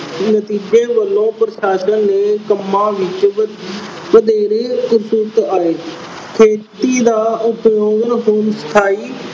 ਨਤੀਜੇ ਵਜੋਂ ਪ੍ਰਸ਼ਾਸਨ ਨੇ ਕੰਮਾਂ ਵਿੱਚ ਵਧੇਰੇ ਅਹ ਆਏ। ਖੇਤੀ ਦਾ ਉਪਯੋਗ ਹੁਣ ਸਥਾਈ